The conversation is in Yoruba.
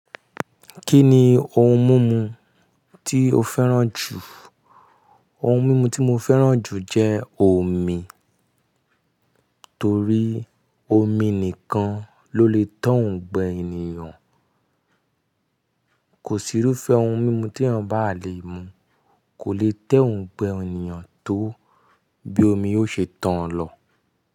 Kí ni ohun mumu tí o fẹ́ràn jù? Ohun mímu tí mo fẹ́ràn jù jẹ́ omi, torí omi nìkan ló lè tan gbẹ ẹniyan. Kò sí irúfẹ́ ohun mímu tí ẹeyan bá le mu, kò lè tan ongbẹ ẹniyàn tó bí omi ó ṣe tàn án lọ.